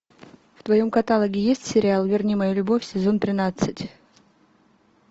в твоем каталоге есть сериал верни мою любовь сезон тринадцать